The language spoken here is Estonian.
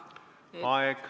Aeg!